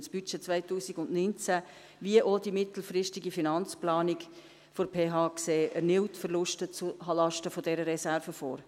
Das Budget 2019 wie auch die mittelfristige Finanzplanung der PH sehen erneut Verluste zulasten dieser Reserven vor.